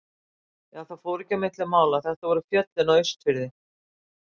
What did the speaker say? Jú, það fór ekki á milli mála, þetta voru fjöllin á Austurfirði.